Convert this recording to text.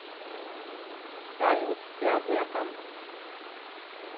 салют ты об этом